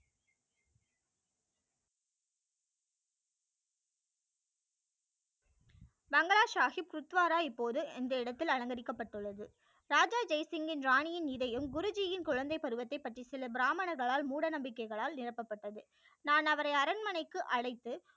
மங்களா சாகிப் துத்வாரா இப்போது இந்த இடத்தில் அலங்கரிக்கப்பட்டு உள்ளது ராஜா ஜெய் சிங்யின் ராணி யின் இதயம் குருஜியின் குழந்தைப்பருவத்தை பற்றி சில பிராமணர்களால் மூட நம்பிக்கை களால் நிரப்பப்பட்டது நான் அவரை அரண்மனைக்கு அழைத்து